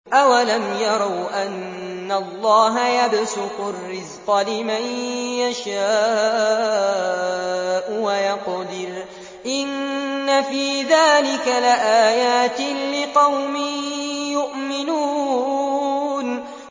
أَوَلَمْ يَرَوْا أَنَّ اللَّهَ يَبْسُطُ الرِّزْقَ لِمَن يَشَاءُ وَيَقْدِرُ ۚ إِنَّ فِي ذَٰلِكَ لَآيَاتٍ لِّقَوْمٍ يُؤْمِنُونَ